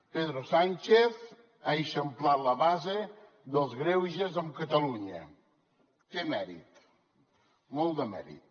pedro sánchez ha eixamplat la base dels greuges amb catalunya té mèrit molt de mèrit